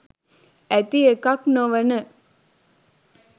ඇති එකක් නොවන